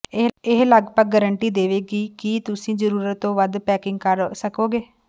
ਇਹ ਲਗਭਗ ਗਾਰੰਟੀ ਦੇਵੇਗੀ ਕਿ ਤੁਸੀਂ ਜ਼ਰੂਰਤ ਤੋਂ ਵੱਧ ਪੈਕਿੰਗ ਕਰ ਸਕੋਗੇ